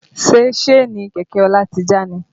Ṣe Síènì kẹ̀kẹ́ Ọlá ti já ni?